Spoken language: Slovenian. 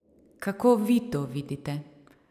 Kako vi to vidite?